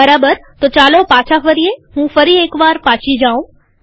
બરાબરતો ચાલો પાછા ફરીએહું ફરી એકવાર પાછી જાઉં